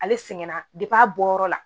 Ale sɛgɛnna a bɔyɔrɔ la